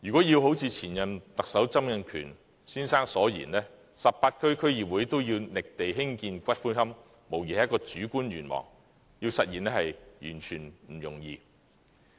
要如前任特首曾蔭權先生所言 ，18 區區議會均要覓地興建龕場，無疑是主觀的願望，要實現是完全不容易。